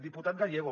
diputat gallego